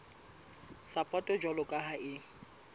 sapoto jwalo ka ha e